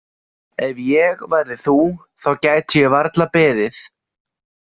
Ef ég væri þú þá gæti ég varla beðið.